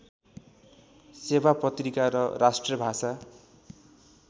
सेवा पत्रिका र राष्ट्रभाषा